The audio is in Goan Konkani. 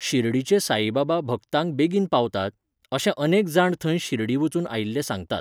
शिर्डिचे साईबाबा भक्तांक बेगीन पावतात, अशें अनेक जाण थंय शिर्डी वचून आयिल्ले सांगतात.